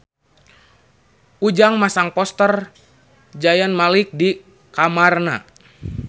Ujang masang poster Zayn Malik di kamarna